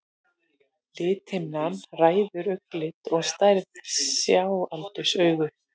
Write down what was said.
Lithimnan ræður augnlit og stærð sjáaldurs augans.